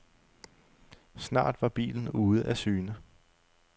Snart var bilen ude af syne.